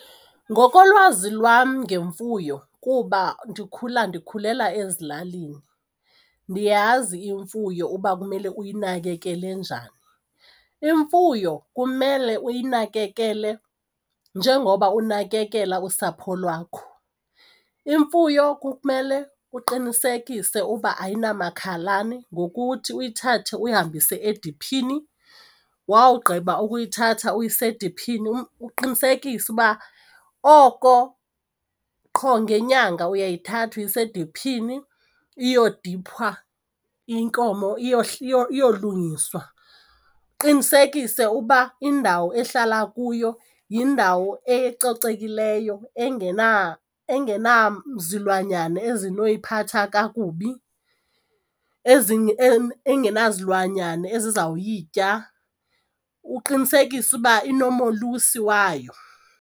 Ngokolwazi lwam ngemfuyo kuba ndikhula ndikhulela ezilalini, ndiyazi imfuyo uba kumele uyinakekele njani. Imfuyo kumele uyinakekele njengoba unakekela usapho lwakho. Imfuyo kumele uqinisekise uba ayinamakhalane ngokuthi uyithathe uyihambise ediphini, wawugqiba ukuyithatha uyise ediphini uqinisekise uba oko qho ngenyanga uyayithatha uyisa idiphini iyodiphwa inkomo iyolungiswa. Uqinisekise uba indawo ehlala kuyo yindawo ecocekileyo engenazilwanyana ezinoyiphatha kakubi engenazilwanyana ezizawuyitya uqinisekise ukuba inomolusi wayo.